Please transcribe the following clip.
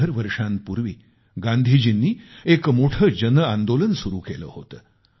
शंभर वर्षांपूर्वी गांधीजींनी एक मोठे जनआंदोलन सुरू केले होते